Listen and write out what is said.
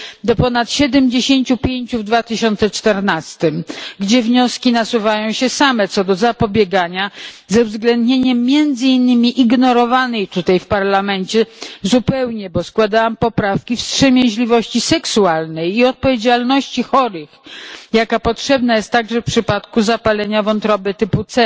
do ponad 75 w 2014 r., gdzie wnioski nasuwają się same co do zapobiegania z uwzględnieniem między innymi ignorowanej tutaj w Parlamencie zupełnie bo składałam poprawki wstrzemięźliwości seksualnej i odpowiedzialności chorych, jaka potrzebna jest także w przypadku zapalenia wątroby typu C,